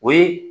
O ye